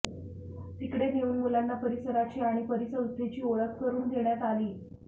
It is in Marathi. तिकडे नेऊन मुलांना परिसराची आणि परिसंस्थेची ओळख करून देण्यात आली